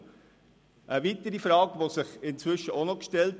Inzwischen hat sich eine weitere Frage gestellt.